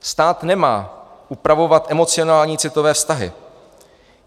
Stát nemá upravovat emocionální citové vztahy.